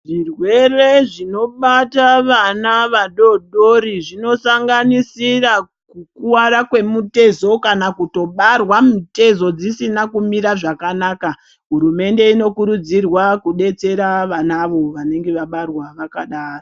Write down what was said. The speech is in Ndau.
Zvirwere zvinobata vana vadodori zvinosanganisira kukuwara kwemutezo kana kutobarwa mitezo dzisina kumira zvakanaka hurumende inokurudzirwa kudetsera vanavo vanenge Vabarwa vakadaro.